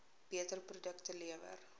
beter produkte lewer